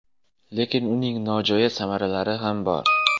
Lekin uning nojo‘ya samaralari ham bor.